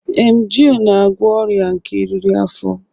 Emgịl na-agwọ ọrịa nke eriri afọ.